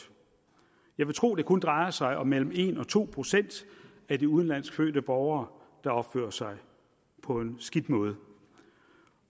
jeg vil tro at det kun drejer sig om mellem en og to procent af de udenlandsk fødte borgere der opfører sig på en skidt måde